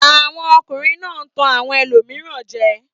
Àwọn ọkùnrin náà ń tan àwọn ẹlòmíràn jẹ.